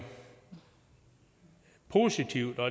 positivt og